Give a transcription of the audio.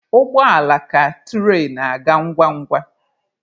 Ụgbọ ala ka tụrain aga ngwa ngwa.